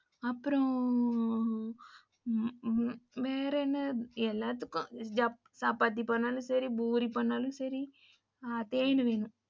அப்புறம் ஆ வேற என்ன எல்லாத்துக்கும் சப்பாத்தி பண்ணாலும் பூரி பண்ணாலும் சரி தேனு வேணும்.